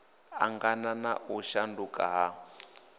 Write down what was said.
angana na u shanduka ha